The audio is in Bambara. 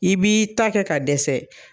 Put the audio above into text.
I b'i ta kɛ ka dɛsɛ.